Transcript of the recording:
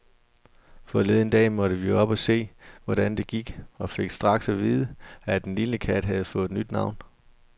Forleden dag måtte vi op og se, hvordan det gik, og fik straks at vide, at den lille kat havde fået nyt navn.